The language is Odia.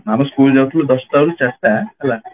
ଆମେ school ଯାଉଥିଲୁ ଦଶଟା ରୁ ଚାରିଟା